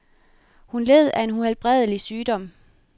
Hun led af en uhelbredelig sygdom.